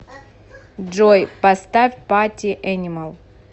джой поставь пати энимал